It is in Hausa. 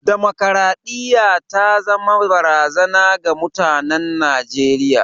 Damakwaraɗiyya ta zama barazana ga mutanen Najeriya.